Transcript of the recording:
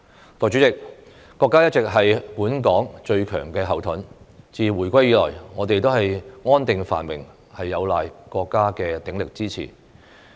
代理主席，國家一直是本港的最強後盾，自回歸以來，我們的安定繁榮有賴國家的鼎力支持。